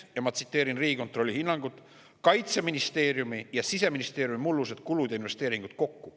Ja ma tsiteerin Riigikontrolli hinnangut: "Seda on rohkem kui näiteks Kaitseministeeriumi ja Siseministeeriumi mullused kulud ja investeeringud kokku.